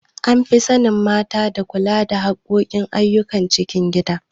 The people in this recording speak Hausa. An fi sanin mata da kula da harkokin ayyukan cikin gida.